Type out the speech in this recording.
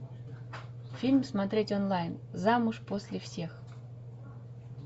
фильм смотреть онлайн замуж после всех